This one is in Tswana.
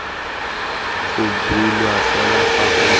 go bulwa fela fa go